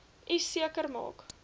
u seker maak